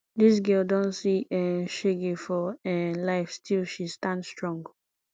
dis girl don see um shege for um life still she stand strong